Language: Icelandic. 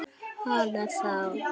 Hana þá.